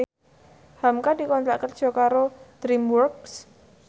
hamka dikontrak kerja karo DreamWorks